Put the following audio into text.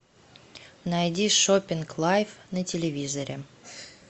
найди шопинг лайф на телевизоре